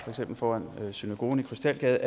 en soldat foran synagogen i krystalgade